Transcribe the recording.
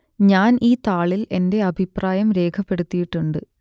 ഞാൻ ഈ താളിൽ എന്റെ അഭിപ്രായം രേഖപ്പെടുത്തിയിട്ടുണ്ട്